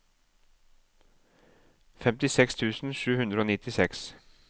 femtiseks tusen sju hundre og nittiseks